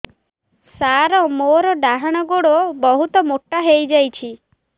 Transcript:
ସାର ମୋର ଡାହାଣ ଗୋଡୋ ବହୁତ ମୋଟା ହେଇଯାଇଛି